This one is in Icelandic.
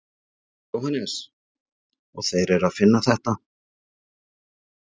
Jóhannes: Og þeir eru að finna þetta?